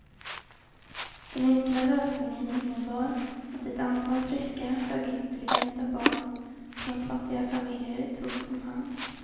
Den enkla lösningen innebar att ett antal friska, högintelligenta barn från fattiga familjer togs omhand.